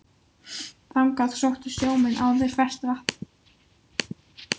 Þangað sóttu sjómenn áður ferskt vatn.